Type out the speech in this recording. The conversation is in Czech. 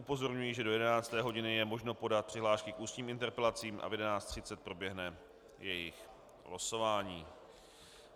Upozorňuji, že do 11. hodiny je možno podat přihlášky k ústním interpelacím a v 11.30 proběhne jejich losování.